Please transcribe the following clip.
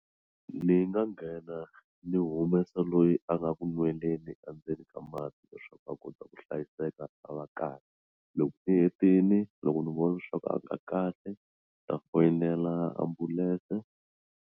Ni nga nghena ni humesa loyi a nga ku nweleni endzeni ka mati leswaku a kota ku hlayiseka a va kahle loko u hetini loko ni vona leswaku a nga kahle ta foyinela ambulense.